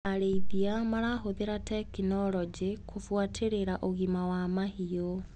Arĩithia marahũthĩra tekinologĩ kũbuatĩrĩra ũgima wa mahiũ.